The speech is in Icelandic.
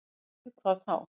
Og við hvað þá?